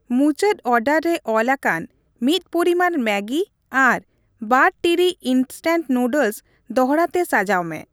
ᱢᱩᱪᱟᱹᱫ ᱚᱮᱰᱟᱨ ᱨᱮ ᱚᱞ ᱟᱠᱟᱱ ᱢᱤᱫ ᱯᱚᱨᱤᱢᱟᱱ ᱢᱮᱜᱤ ᱟᱨ ᱵᱟᱨ ᱴᱤᱲᱤᱡ ᱤᱱᱥᱴᱮᱱᱴ ᱱᱩᱰᱞᱥ ᱫᱚᱲᱦᱟ ᱛᱮ ᱥᱟᱡᱟᱣ ᱢᱮ ᱾